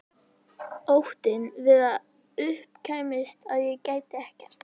Óttinn við að upp kæmist að ég gæti ekkert.